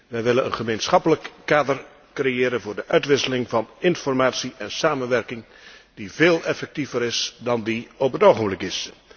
Wij willen een gemeenschappelijk kader creëren voor de uitwisseling van informatie en samenwerking die veel effectiever is dan die op dit ogenblik is.